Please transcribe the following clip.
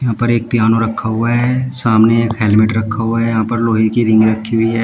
यहां पर एक पियानो रखा हुआ है सामने एक हेलमेट रखा हुआ है यहां पर लोहे की रिंग रखी हुई है।